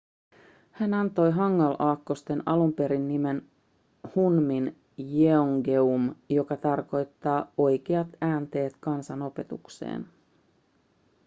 hän antoi hangul-aakkoston alun perin nimen hunmin jeongeum joka tarkoittaa oikeat äänteet kansan opetukseen